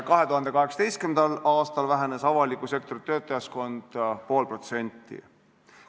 2018. aastal vähenes avaliku sektori töötajaskond pool protsenti.